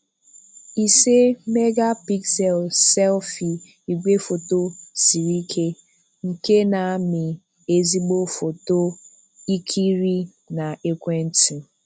Ise-megapixel selfie igwefoto siri ike, nke na-amị ezigbo photos ikiri na ekwentị.